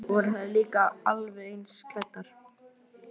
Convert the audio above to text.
Voru þær líka alveg eins klæddar?